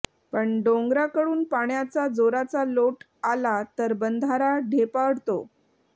पण डोंगराकडून पाण्याचा जोराचा लोट आला तर बंधारा ढेपाळतो